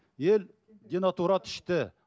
ел денатурат ішті